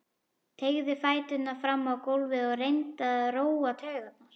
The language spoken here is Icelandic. Teygði fæturna fram á gólfið og reyndi að róa taugarnar.